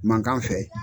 Mankan fɛ